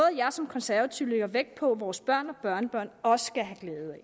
jeg som konservativ lægger vægt på at vores børn og børnebørn også skal have glæde